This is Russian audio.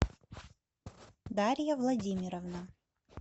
дарья владимировна